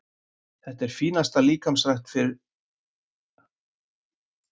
Þetta er fínasta líkamsrækt fyrir hann að fara á leik.